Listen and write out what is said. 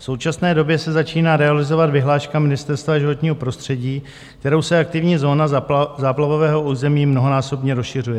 V současné době se začíná realizovat vyhláška Ministerstva životního prostředí, kterou se aktivní zóna záplavového území mnohonásobně rozšiřuje.